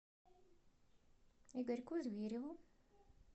игорьку звереву